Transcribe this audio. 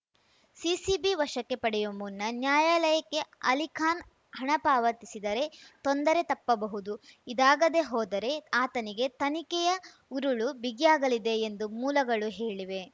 CCB ವಶಕ್ಕೆ ಪಡೆಯುವ ಮುನ್ನ ನ್ಯಾಯಾಲಯಕ್ಕೆ ಅಲಿಖಾನ್‌ ಹಣ ಪಾವತಿಸಿದರೆ ತೊಂದರೆ ತಪ್ಪಬಹುದು ಇದಾಗದೆ ಹೋದರೆ ಆತನಿಗೆ ತನಿಖೆಯ ಉರುಳು ಬಿಗಿಯಾಗಲಿದೆ ಎಂದು ಮೂಲಗಳು ಹೇಳಿವೆ